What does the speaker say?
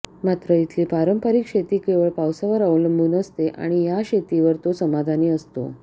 मात्र इथली पारंपरिक शेती केवळ पावसावर अवलंबून असते आणि या शेतीवर तो समाधानी असतो